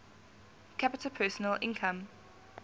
capita personal income